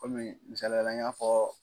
Kɔmi misaliya la n y'a fɔɔ